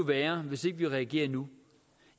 værre hvis ikke vi reagerer nu